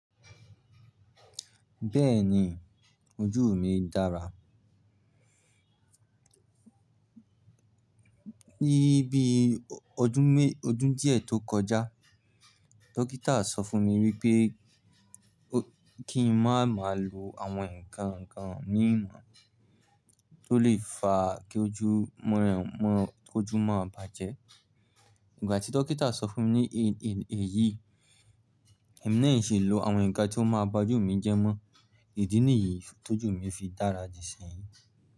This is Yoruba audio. Bẹ́ẹ̀ni, ojú mi dára. Ní bí ọdún mé-- ọdún díẹ̀ tó kọjá, dókítà sọ fún mi wípé kí n má má lo àwọn ǹkan ǹkan mìí mọ́ tó lè fa kí ojú mọ́ ọ̀n-- mọ́-- kí ojú má bàjẹ́. Ìgbà tí dókítà sọ fún mi ní èyí, èmi náà ṣe lo àwọn ǹkan tí ó máa ba ojú mi jẹ́ mọ́. Ìdí nìyí tó jù mi fi dára di ṣéyìn.